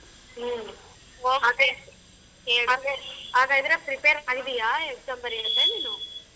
ಹ್ಮ ಆಗಾದ್ರೆ prepare ಅಗಿದೀಯ exam ಬರಿಯೋಕೆ ನೀನೂ?